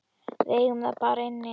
Við eigum það bara inni.